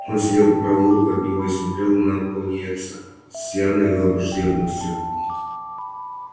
он сидел по правую руку от него и смотрел на пониетса с явной враждебностью